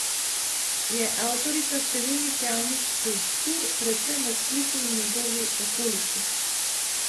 Je avtorica številnih javnih skulptur, predvsem v Splitu in njegovi okolici.